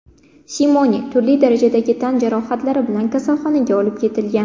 Simone turli darajadagi tan jarohatlari bilan kasalxonaga olib ketilgan.